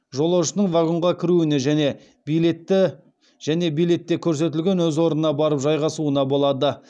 жолаушының вагонға кіруіне және билетте көрсетілген өз орнына барып жайғасуына болады